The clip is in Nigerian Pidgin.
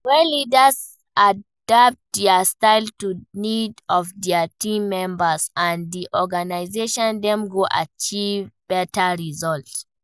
When leaders adapt dia style to di need of dia team members and di organization, dem go achieve beta results.